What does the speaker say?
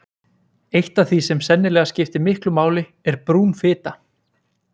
eitt af því sem sennilega skiptir miklu máli er brún fita